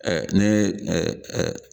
Ɛɛ ne ɛɛ ɛɛ